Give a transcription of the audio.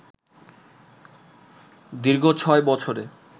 দীর্ঘ ছয় বছরে